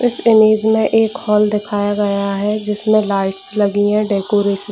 इस इमेज में एक हॉल दिखया गया है जिसमें लाइट्स लगी है डेकोरेशन --